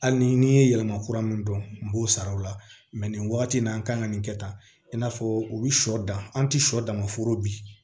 Hali ni n'i ye yɛlɛma kura min dɔn n b'o sara o la nin wagati in na an kan ka nin kɛ tan i n'a fɔ u bi sɔ dan an ti sɔ dan ma foro bi